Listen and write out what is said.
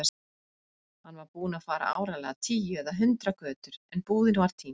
Hún var búin að fara áreiðanlega tíu eða hundrað götur- en búðin var týnd.